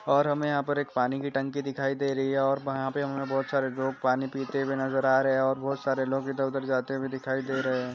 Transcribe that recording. और हमें यहाँ पर पानी की टंकी दिखाई दे रही है और वहाँ पर हमें बहुत सारे लोग पानी पिते हुए नजर आ रहे है और बहुत सारे लोग इधर-उधर जाते हुए दिखाई दे रहे है।